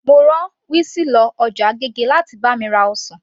Mo rá wizzy lọ ọjà agége láti bá mi ra ọsàn